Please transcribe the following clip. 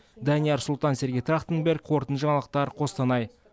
данияр сұлтан сергей трахтенберг қорытынды жаңалықтар қостанай